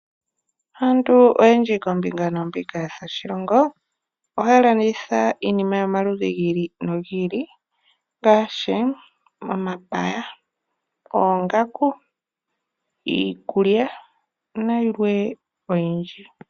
Aantu oyendji koombinga noombinga dhoshilongo, ohaya landitha iinima yomaludhi gi ili nogi ili ngaashi omapaya, oongaku, iikulya nayilwe oyindji.